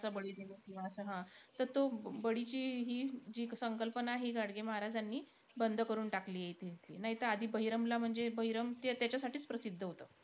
बोकरांचं बळी देणं किंवा असं हा. त तो बळीची ही जी संकल्पना आहे, ही गाडगे महाराजांनी बंद करून टाकलीयं इथे इथली. नाहीतर बहिरमला म्हणजे, बहिरम त्याच्यासाठीचं प्रसिद्ध होतं.